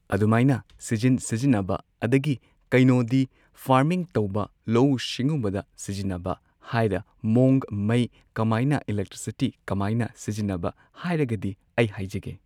ꯑꯗꯨꯃꯥꯏꯅ ꯁꯤꯖꯤꯟ ꯁꯤꯖꯤꯟꯅꯕ ꯑꯗꯒꯤ ꯀꯩꯅꯣꯗꯤ ꯐꯥꯔꯃꯤꯡ ꯇꯧꯕ ꯂꯧꯎ ꯁꯤꯡꯎꯕꯗ ꯁꯤꯖꯤꯟꯅꯕ ꯍꯥꯏꯔ ꯃꯑꯣꯡ ꯃꯩ ꯀꯃꯥꯏꯅ ꯏꯂꯦꯛꯇ꯭ꯔꯤꯁꯤꯇꯤ ꯀꯃꯥꯏꯅ ꯁꯤꯖꯤꯟꯅꯕ ꯍꯥꯏꯔꯒꯗꯤ ꯑꯩ ꯍꯥꯏꯖꯒꯦ꯫